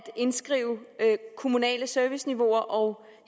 indskrive kommunale serviceniveauer og